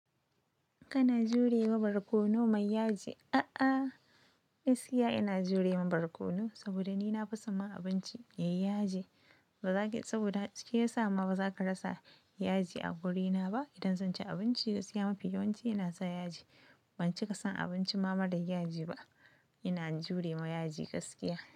Kana jurewa barkono mai yaji? A'a, gaskiya ina jurewa barkono saboda ni na fi son ma abinci yayi yaji. Ba zaki, saboda shi yasa ma baza ka rasa yaji a wurina ba. Idan zan ci abinci, gaskiya mafi yawanci ina sa yaji. Ban cika son abinci ma, mara yaji ba. Ina jure ma yaji gaskiya.